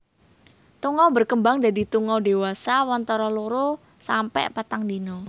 Tungau berkembang dadi tungau dewasa wantara loro sampe patang dina